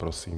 Prosím.